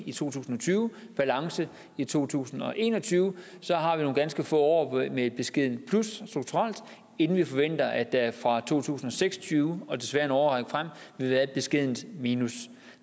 i to tusind og tyve balance i to tusind og en og tyve så har vi nogle ganske få år med et beskedent plus strukturelt inden vi forventer at der fra to tusind og seks og tyve og desværre en årrække frem vil være et beskedent minus